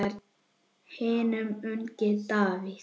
Ég var hinn ungi Davíð.